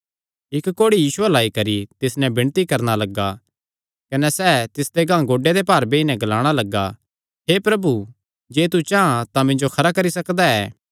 इक्क कोढ़ी यीशु अल्ल आई करी तिस नैं विणती करणा लग्गा कने सैह़ तिसदे गांह गोड्डेयां दे भार बेई नैं ग्लाणा लग्गा हे प्रभु जे तू चां तां मिन्जो खरा करी सकदा ऐ